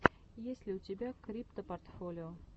есть ли у тебя криптопортфолио